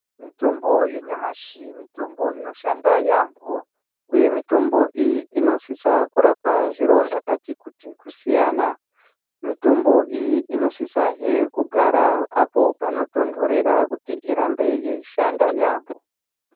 Mutombo yanyamashi mutombo inoshanda yaampo uye mitombo iyi inosisa kurapa zviro Vakati kuti kusiyana mitombo iyi inosisahe kugara apo panotontorera kuti irambe yeishanda yaampo.